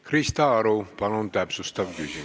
Krista Aru, palun täpsustav küsimus!